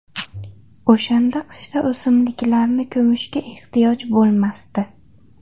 O‘shanda qishda o‘simliklarni ko‘mishga ehtiyoj bo‘lmasdi”.